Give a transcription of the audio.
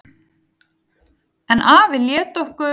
En afi lét okkur